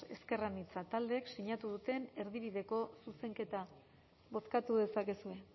ezker anitza taldeek sinatu duten erdibideko zuzenketa bozkatu dezakezue